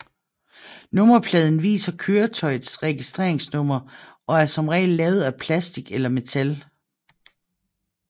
Nummerpladen viser køretøjets registreringsnummer og er som regel lavet af metal eller plastic